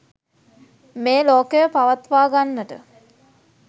මේ ලෝකය පවත්වා ගන්නට